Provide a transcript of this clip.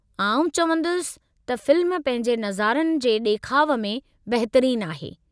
आउं चवंदुसि त फ़िल्म पंहिंजे नज़ारनि जे ॾेखाउ में बहितरीन आहे।